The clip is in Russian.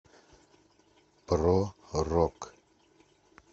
про рок